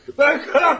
Mən qatiləm!